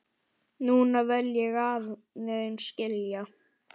Núna vil ég aðeins skilja.